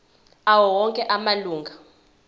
awo onke amalunga